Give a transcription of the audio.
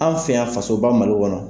An fɛ yan fasoba Mali kɔnɔ.